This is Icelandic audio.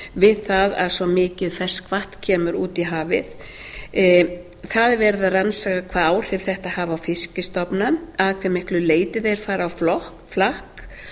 við það að svo mikið ferskvatn kemur út í hafið það er verið að rannsaka hvaða áhrif þetta hafi á fiskstofna að hve miklu leyti þeir fari á flakk